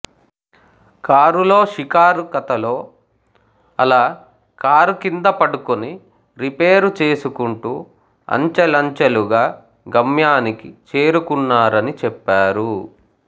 కారులో షికారు కథలో అలా కారు కింద పడుకుని రిపేరు చేసుకుంటూ అంచెలంచెలుగా గమ్యానికి చేరుకున్నారని చెప్పారు